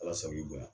Ala sago i bonya